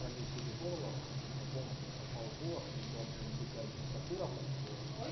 пролечить горло потому что у меня полностью пропал голос у меня была блять дикая температура под сорок